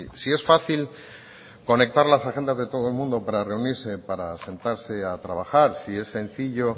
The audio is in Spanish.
si es fácil conectar las agendas de todo el mundo para reunirse para sentarse a trabajar si es sencillo